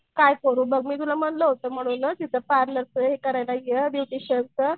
काय करू बघ मी तुला म्हणलं होतं ना तिथं पार्लरचं हे करायला ये ब्युटिशिअनच.